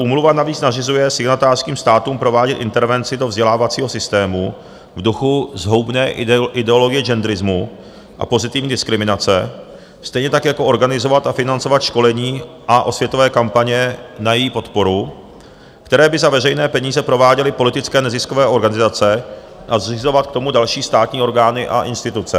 Úmluva navíc nařizuje signatářským státům provádět intervenci do vzdělávacího systému v duchu zhoubné ideologie genderismu a pozitivní diskriminace, stejně tak jako organizovat a financovat školení a osvětové kampaně na její podporu, které by za veřejné peníze prováděly politické neziskové organizace, a zřizovat k tomu další státní orgány a instituce.